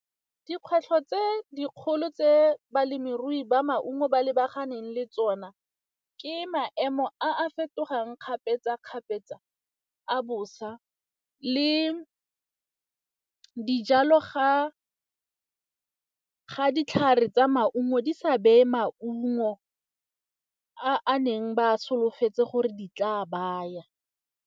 Dikgwetlho tse dikgolo tse balemirui ba maungo ba lebaganeng le tsona ke maemo a fetogang kgapetsa-kgapetsa a bosa le dijalo ga ditlhare tsa maungo di sa beye maungo a a neng ba a solofetse gore di tla a baya.